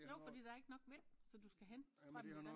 Jo fordi der ikke nok vind så du skal hente strømmen et